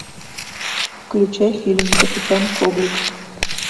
включай фильм капитан коблик